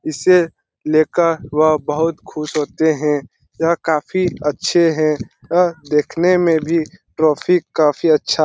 इसे लेकर वह बहुत खुश होते हैं यह काफ़ी अच्छे है अ देखने में ट्रॉफी काफ़ी अच्छा --